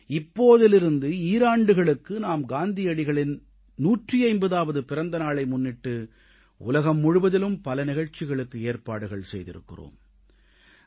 இப்போதிருந்து ஈராண்டுகளுக்கு நாம் காந்தியடிகளின் 150ஆவது பிறந்த நாளை முன்னிட்டு உலகம் முழுவதிலும் பல நிகழ்ச்சிகளுக்கு ஏற்பாடுகள் செய்திருக்கிறோம்